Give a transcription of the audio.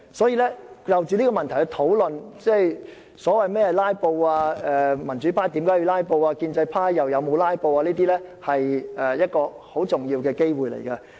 所以，藉現在這項議案討論何謂"拉布"、民主派為何要"拉布"、建制派又有否"拉布"等，是一個難得機會。